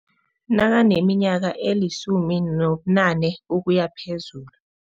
Nakaneminyaka elisumi nobunane ukuya phezulu.